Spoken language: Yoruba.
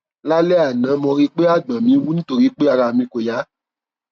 lálẹ àná mo rí pé àgbọn mi wú nítorí pé ara mi kò yá